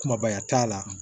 Kumabaya t'a la